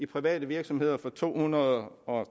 private virksomheder for to hundrede og